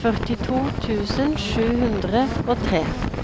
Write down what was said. førtito tusen sju hundre og tre